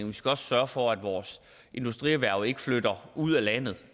vi skal også sørge for at vores industrierhverv ikke flytter ud af landet